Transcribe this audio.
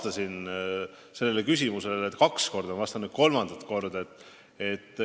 Ma olen sellele küsimusele kaks korda vastanud ja vastan nüüd kolmandat korda.